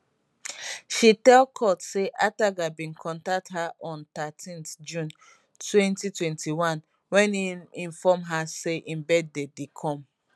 she tell court say ataga bin contact her on thirteen june 2021 wen im inform her say im birthday dey come